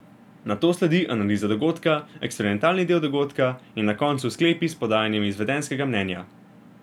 Nato sledi analiza dogodka, eksperimentalni del dogodka in na koncu sklepi s podajanjem izvedenskega mnenja.